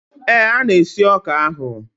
Ee, a na-esi ọka ahụ.